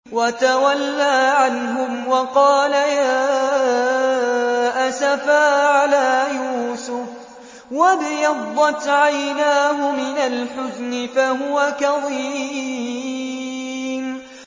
وَتَوَلَّىٰ عَنْهُمْ وَقَالَ يَا أَسَفَىٰ عَلَىٰ يُوسُفَ وَابْيَضَّتْ عَيْنَاهُ مِنَ الْحُزْنِ فَهُوَ كَظِيمٌ